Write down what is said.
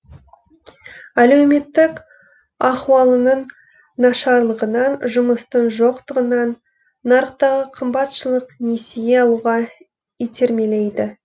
әлеуметтік ахуалының нашарлығынан жұмыстың жоқтығынан нарықтағы қымбатшылық несие алуға итермелейді